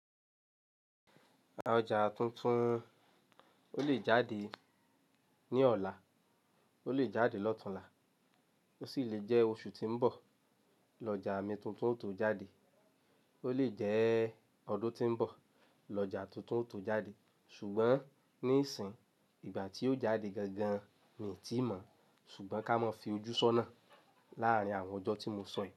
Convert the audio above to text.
Ọjà tuntun, ó lè jáde ní ọ̀la, ó lè jáde lọ́túnla, ó sì lè jẹ́ oṣù tí ń bọ̀ lọ́jà mi tuntun ó tún jáde, ó lè jẹ́ ọdún tí ń bọ̀ lọ́jà tuntun tó jáde, ṣùgbọ́n nísìnyí, ìgbà tí ó jáde gangan mi ò ti mọ̀, ṣùgbọ́n ká mọ fi ojú sọ́nà láàrin àwọn ọjọ́ tí mo sọ yí.